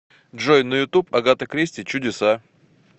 джой на ютуб агата кристи чудеса